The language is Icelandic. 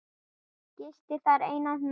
Gisti þar eina nótt.